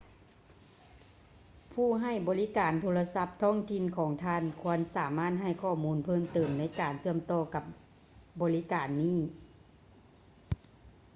ຜູ້ໃຫ້ບໍລິການໂທລະສັບທ້ອງຖິ່ນຂອງທ່ານຄວນສາມາດໃຫ້ຂໍ້ມູນເພີ່ມເຕີມໃນການເຊື່ອມຕໍ່ກັບບໍລິການນີ້